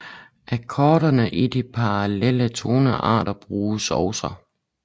Akkorderne i de parallelle tonearter bruges også